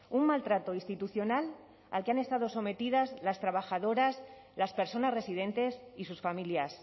un maltrato institucional al que han estado sometidas las trabajadoras las personas residentes y sus familias